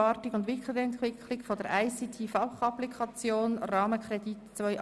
Wir befinden uns in einer freien Debatte.